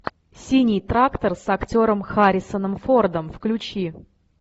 синий трактор с актером харрисоном фордом включи